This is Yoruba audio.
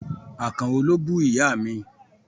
Àkànó ló bú Ìyá mi.